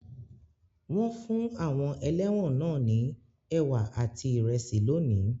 Wọ́n fún àwọn ẹlẹ́wọ̀n náà ní ẹ̀wà àti ìrẹsì lónìí.